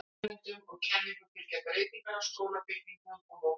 Nýjum nemum og nýjum kenningum fylgja breytingar á skólabyggingum og notkun þeirra.